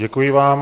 Děkuji vám.